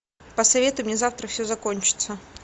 посоветуй мне завтра все закончится